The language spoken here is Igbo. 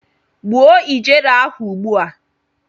Gbuo ijere ahụ ugbu a!